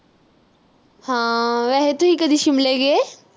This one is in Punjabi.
ਹਾਂ ਵੈਸੇ ਤੁਸੀਂ ਕਦੇ ਸ਼ਿਮਲੇ ਗਏ?